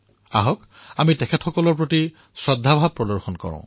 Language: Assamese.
আহক তেওঁলোকৰ প্ৰতি আমাৰ আদৰ ভাব প্ৰদৰ্শন কৰোঁ